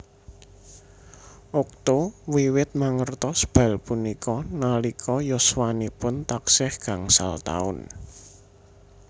Okto wiwit mangertos bal punika nalika yuswanipun taksih gangsal taun